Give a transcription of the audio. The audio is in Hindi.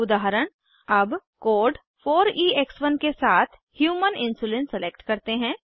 उदाहरण अब कोड 4ईएक्स1 के साथ ह्यूमन इन्सुलिन सलेक्ट करते हैं